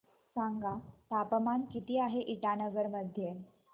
सांगा तापमान किती आहे इटानगर मध्ये